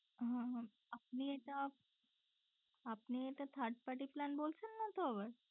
হ্যাঁ আপনি এটা আপনি এটা third party plan বলছেন নাতো আবার?